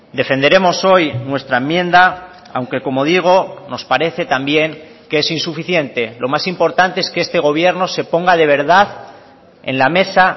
defenderemos hoy nuestra enmienda aunque como digo nos parece también que es insuficiente lo más importante es que este gobierno se ponga de verdad en la mesa